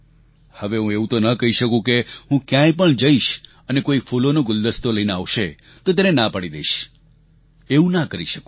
હવે હું એવું તો ના કહી શકું કે હું ક્યાંય પણ જઈશ અને કોઈ ફૂલોનો ગુલદસ્તો લઈને આવશે તો તેને ના પાડી દઈશ એવું ના કરી શકું